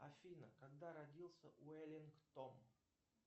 афина когда родился уэллингтон